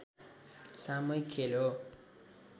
सामूहिक खेल हो